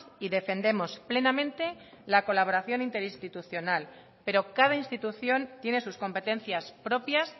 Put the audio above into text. y defendemos plenamente la colaboración interinstitucional pero cada institución tiene sus competencias propias